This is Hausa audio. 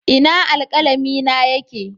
Ina alkalami na yake?